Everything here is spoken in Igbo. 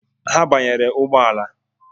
Ha banyere ụgbọala